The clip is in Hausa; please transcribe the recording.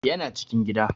Ya na cikin gida